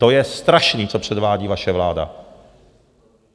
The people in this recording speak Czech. To je strašný, co předvádí vaše vláda.